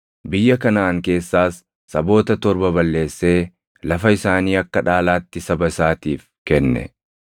Biyya Kanaʼaan keessaas saboota torba balleessee lafa isaanii akka dhaalaatti saba isaatiif kenne.